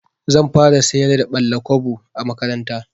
Zan fara sayar da ɓalla-kwabo a makaranta.